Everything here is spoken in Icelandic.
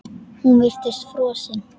Hún virtist frosin.